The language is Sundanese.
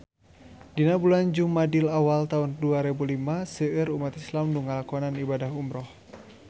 Dina bulan Jumadil awal taun dua rebu lima seueur umat islam nu ngalakonan ibadah umrah